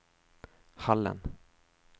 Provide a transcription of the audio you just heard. Hallen